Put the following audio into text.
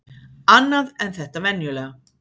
Annað en þetta venjulega.